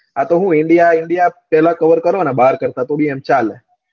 આતો હું indan indan પેલા cover કરો ને બાર કરતા તો ભી આમ ચાલે